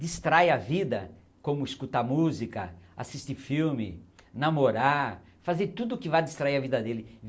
distrai a vida, como escutar música, assistir filme, namorar, fazer tudo que vai distrair a vida dele.